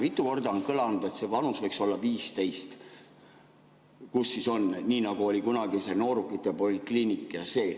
Mitu korda on kõlanud, et see vanus võiks olla 15, nii nagu oli kunagi see noorukite polikliinik ja see.